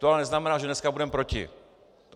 To ale neznamená, že dneska budeme proti.